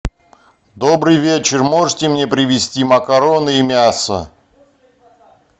добрый вечер можете мне привезти макароны и мясо